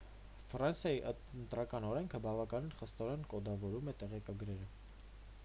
ֆրանսիայի ընտրական օրենքը բավականին խստորեն կոդավորում է տեղեկագրերը